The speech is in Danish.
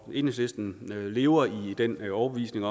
enhedslisten lever i den overbevisning